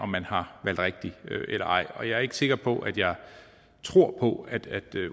man har valgt rigtigt eller ej og jeg er ikke sikker på at jeg tror på at at det